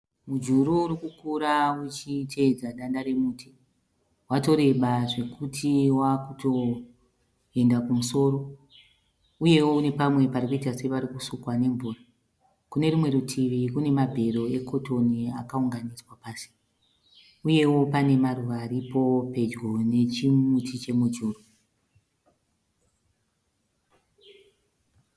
Mujuru urikukura uchitevedza danda remuti. Watoreba zvekuti wakutoenda kumusoro. Uyewo une pamwe parikuita separikusukwa nemvura. Kune rimwe rutivi kune mabhero e cotton akaunganidzwa pasi. Uyewo pane maruva aripo pedyo nechimuti chemujuru.